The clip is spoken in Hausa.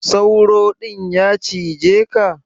Sauro din ya cije ka?